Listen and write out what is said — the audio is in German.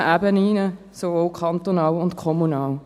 Dies auf allen Ebenen, sowohl kantonal als auch kommunal.